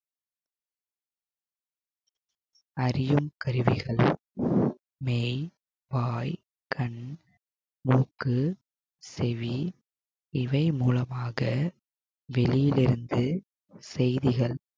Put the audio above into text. அறியும் கருவிகளாய் மெய் வாய் கண் மூக்கு செவி இவை மூலமாக வெளியில் இருந்து செய்திகள்